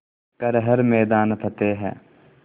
कर हर मैदान फ़तेह